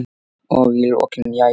Og í lokin: Jæja.